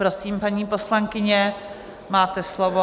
Prosím, paní poslankyně, máte slovo.